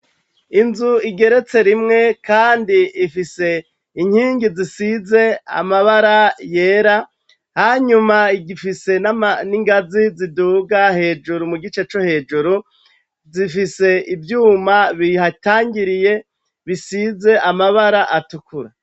Inzu igeretse rimwe, kandi ifise inkingi zisize amabara yera hanyuma igifise nn'ingazi ziduga hejuru mu gice co hejuru zifise ivyuma bihatangiriye bisize amabara atukura.